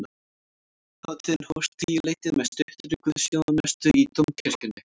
Hátíðin hófst um tíuleytið með stuttri guðsþjónustu í dómkirkjunni